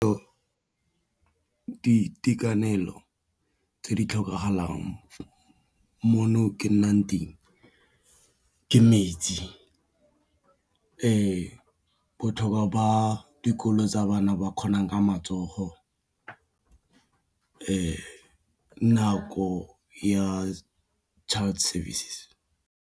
Di itekanelo tse di tlhokagalang mono ke nnang teng ke metsi, botlhokwo ba dikolo tsa bana ba kgonang ka matsogo nako ya child service.